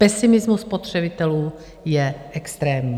Pesimismus spotřebitelů je extrémní.